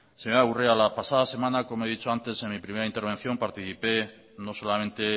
señora urrea la pasada semana como he dicho antes en mi primera intervención participé no solamente